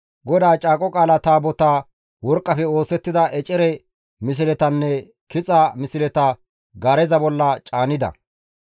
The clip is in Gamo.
GODAA Caaqo Qaala Taabotaa, worqqafe oosettida ecere misletanne kixa misleta gaareza bolla caanida.